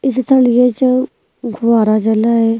istan ये जो घुवारा जला हे --